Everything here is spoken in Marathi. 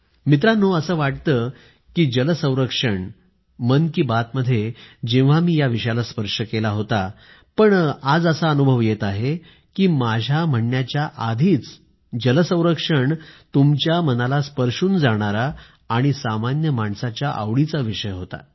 मित्रांनो असं वाटतं की जल संरक्षण मन की बात मध्ये जेव्हा मी या विषयाला स्पर्श केला होता पण आज असा अनुभव येत आहे की माझ्या म्हणण्याच्या आधीच जल संरक्षण तुमच्या मनाला स्पर्शून जाणारा आणि सामान्य माणसाच्या आवडीचा विषय होता